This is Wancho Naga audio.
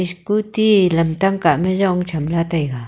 scooty lamtang kah ma jong chamla taiga.